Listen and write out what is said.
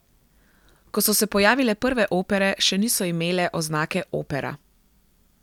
Ko so se pojavile prve opere, še niso imele oznake opera.